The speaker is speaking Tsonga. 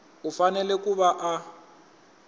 u fanele ku va a